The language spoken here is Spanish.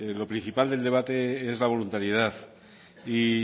lo principal del debate es la voluntariedad y